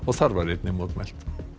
þar var einnig mótmælt